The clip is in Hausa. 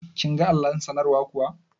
Kin ga allon sanarwar kuwa?